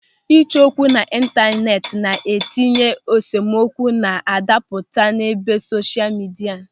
Ịchọ okwu n'ịntaneti na-etinye esemokwu na-adapụta n'ebe sosha midia.